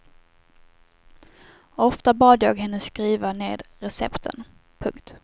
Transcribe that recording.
Ofta bad jag henne skriva ned recepten. punkt